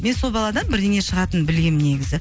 мен сол баладан бірдеңе шығатынын білгемін негізі